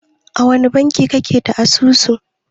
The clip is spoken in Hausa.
A wani banki kake da asusu?